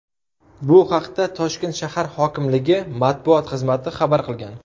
Bu haqda Toshkent shahar hokimligi matbuot xizmati xabar qilgan .